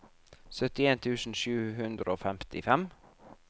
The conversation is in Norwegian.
syttien tusen sju hundre og femtifem